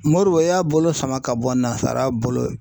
Modibo y'a bolo sama ka bɔ nanzaraw bolo